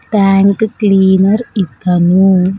Tank cleaner ఇతను.